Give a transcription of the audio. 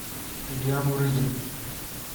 илья мурыгин